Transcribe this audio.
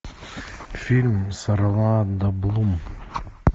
фильм с орландо блум